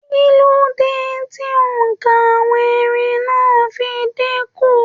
Kilode tí óńka àwọn erin náà n dínkù?